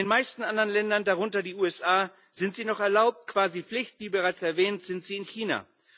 In den meisten anderen Ländern darunter die USA sind sie noch erlaubt, quasi Pflicht wie bereits erwähnt sind sie in China.